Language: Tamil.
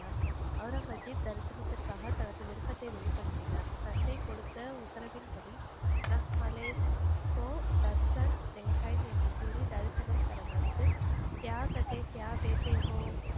ஒளரங்கசீப் தரிசனத்திற்காக தனது விருப்பத்தை வெளிப்படுத்தினர், தந்தை கொடுத்த உத்தரவின்படி என்று கூறி தரிசனம் தர மறுத்து